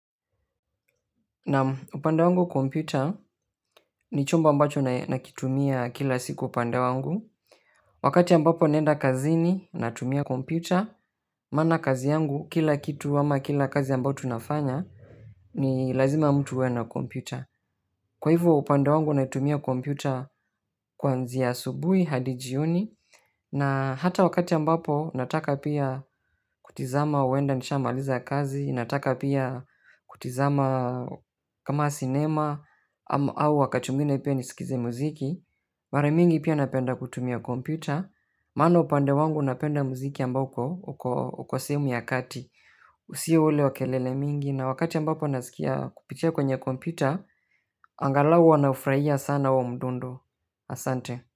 Naam. Upande wangu kompyuta, ni chombo ambacho nakitumia kila siku upande wangu. Wakati ambapo naenda kazini natumia kompyuta, maana kazi yangu kila kitu ama kila kazi ambao tunafanya ni lazima mtu uwe na kompyuta. Kwa hivo upande wangu naitumia kompyuta kwanzia asubui hadi jioni na hata wakati ambapo nataka pia kutizama huenda nisha maliza kazi, nataka pia kutizama, kama sinema au wakati mwingine pia nisikize mziki, maramingi pia napenda kutumia kompyuta, maana upande wangu napenda mziki ambao uko, uko sehemu ya kati. Si ule wa kelele mingi na wakati ambapo naskia kupitia kwenye kompyuta, angalau huwa naufurahia sana huo mdundo. Asante.